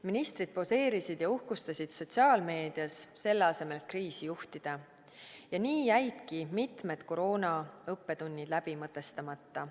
Ministrid poseerisid ja uhkustasid sotsiaalmeedias, selle asemel et kriisi juhtida, ja nii jäidki mitmed koroonaõppetunnid läbi mõtestamata.